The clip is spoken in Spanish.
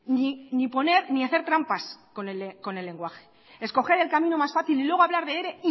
ni hacer trampas con el lenguaje escoger el camino más fácil y luego hablar de ere